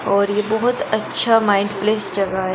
और ये बहुत अच्छा माइंड प्लेस जगह है।